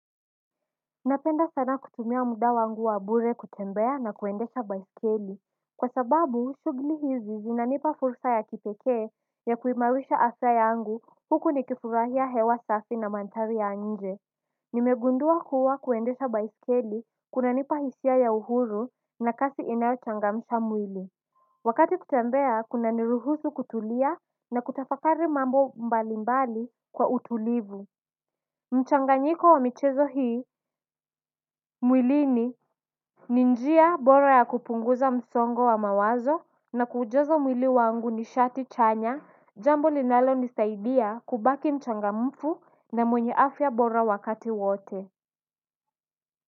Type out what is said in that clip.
Napenda sana kutumia muda wangu wa bure kutembea na kuendesha baiskeli. Kwa sababu, shughuli hizi zinanipa fursa ya kipekee ya kuimarisha afya yangu huku ni kifurahia hewa safi na mandhari ya nje. Nimegundua kuwa kuendesha baiskeli kuna nipa hisia ya uhuru na kasi inayochangamsha mwili. Wakati kutembea kuna niruhusu kutulia na kutafakari mambo mbali mbali kwa utulivu. Mchanganyiko wa michezo hii, mwilini, ninjia bora ya kupunguza msongo wa mawazo na kuujaza mwili wangu nishati chanya, jambo linalonisaidia kubaki mchangamfu na mwenye afya bora wakati wote.